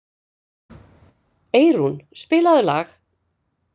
Eyrún, spilaðu lag.